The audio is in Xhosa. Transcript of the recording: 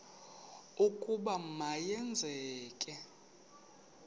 ukuba ma yenzeke